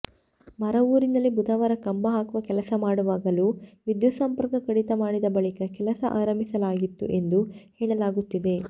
ಮರವೂರಿನಲ್ಲಿ ಬುಧವಾರ ಕಂಬ ಹಾಕುವ ಕೆಲಸ ಮಾಡುವಾಗಲೂ ವಿದ್ಯುತ್ ಸಂಪರ್ಕ ಕಡಿತ ಮಾಡಿದ ಬಳಿಕ ಕೆಲಸ ಆರಂಭಿಸಲಾಗಿತ್ತು ಎಂದು ಹೇಳಲಾಗುತ್ತಿದೆ